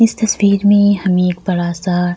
इस तस्वीर में हम एक बड़ा-सा --